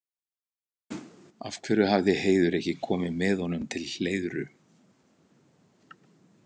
Af hverju hafði Heiður ekki komið með honum til Hleiðru?